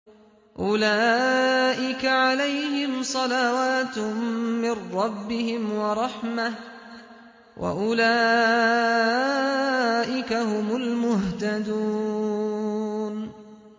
أُولَٰئِكَ عَلَيْهِمْ صَلَوَاتٌ مِّن رَّبِّهِمْ وَرَحْمَةٌ ۖ وَأُولَٰئِكَ هُمُ الْمُهْتَدُونَ